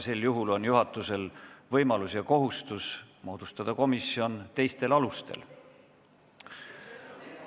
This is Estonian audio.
Sel juhul on juhatusel võimalus ja kohustus moodustada komisjon teistel alustel.